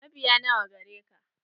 Mabiya nawa gareka?